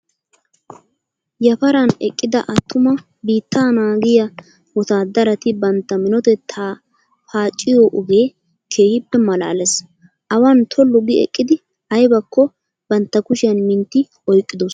Yaparan eqqida attuma biittaa naagiyaa wotaaddarati bantta minotettaa paacciyoo ogee keehippe malaales. Awan tollu gi eqqidi aybakko bantta kushiyaan mintti oyiqqidosona.